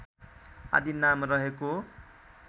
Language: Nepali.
आदि नाम रहेको